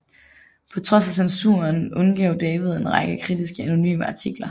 På trods af censuren udgav David en række kritiske anonyme artikler